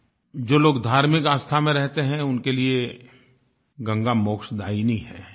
जो लोग धार्मिक आस्था में रहते हैं उनके लिए गंगा मोक्षदायिनी है